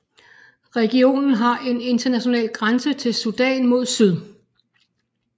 Regionen har en international grænse til Sudan mod syd